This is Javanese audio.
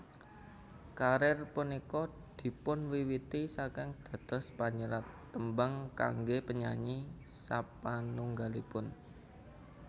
Karir punika dipunwiwiti saking dados panyerat tembang kangge penyanyi sapanunggalipun